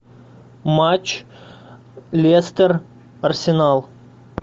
матч лестер арсенал